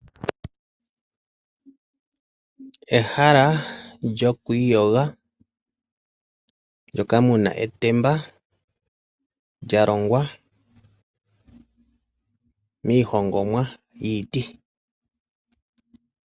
Ehala lyoku iyoga, moka mu na etemba lya longwa miihongomwa yiiti.